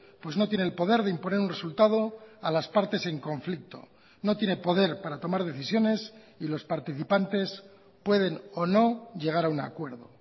pues no tiene el poder de imponer un resultado a las partes en conflicto no tiene poder para tomar decisiones y los participantes pueden o no llegar a un acuerdo